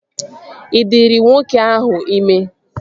Ị dịrị nwoke ahụ ime?